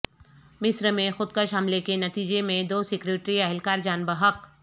مصر میں خودکش حملے کے نتیجے میں دو سیکورٹی اہلکار جان بحق